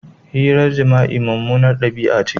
Hirar jima'i mummunar dabi'a ce.